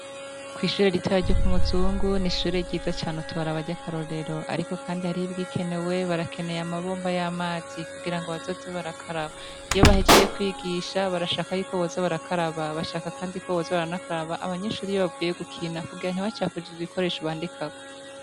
Kwishure ritoya ryo kumuzungu nishure ryiza cane utoraba ryakarorero ariko kandi hari ibigikenewe barakeneye amabomba yamazi kugira ngo bazoze barakaraba iyo bahejeje kwigisha barashaka yuko boza barakaraba bashaka kandi koboza baranakaraba abanyeshure iyo bavuye gukina kugira ntibacafuze ibikoresho bandikako